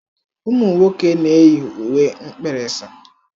Ụmụ nwoke na-eyi uwe mkpirisi.